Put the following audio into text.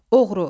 Oğru.